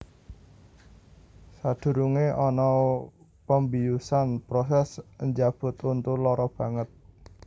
Sadurunge ana pembiusan proses njabut untu lara banget